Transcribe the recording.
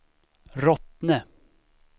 Rottne